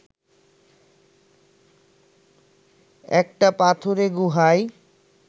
একটা পাথুরে গুহায়